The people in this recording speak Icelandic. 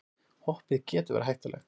Hoppið getur verið hættulegt